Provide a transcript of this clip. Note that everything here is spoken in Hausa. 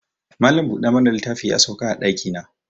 Malam bude mana littafi ya sauka a daki na